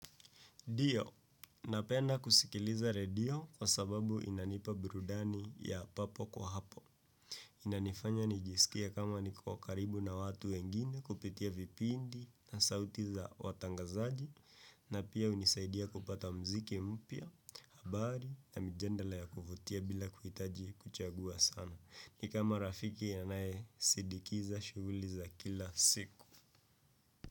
Ndio, napenda kusikiliza redio kwa sababu inanipa burudani ya papo kwa hapo. Inanifanya nijisikie kama niko karibu na watu wengine kupitia vipindi na sauti za watangazaji na pia hunisaidia kupata muziki mpya, habari na mijadala ya kuvutia bila kuhitaji kuchagua sana. Ni kama rafiki anaesindikiza shughuli za kila siku.